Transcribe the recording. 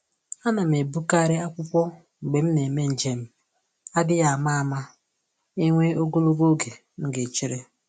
Ana m ebukarị akwụkwọ mgbe m na eme njem, adịghị ama ama enwee ogologo oge m ga echere